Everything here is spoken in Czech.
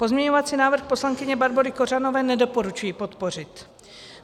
Pozměňovací návrh poslankyně Barbory Kořanové nedoporučuji podpořit.